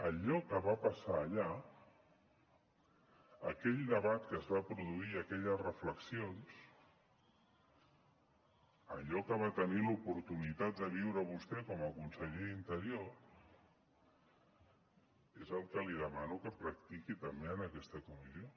allò que va passar allà aquell debat que es va produir aquelles reflexions allò que va tenir l’oportunitat de viure vostè com a conseller d’interior és el que li demano que practiqui també en aquesta comissió